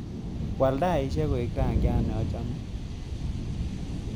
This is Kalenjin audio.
Waal taishek koek rangyat nachame